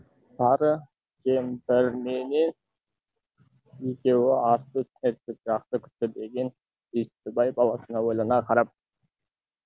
сары кемпірменен екеуі асты үстіне түсіп жақсы күтті деген бестібай баласына ойлана қарап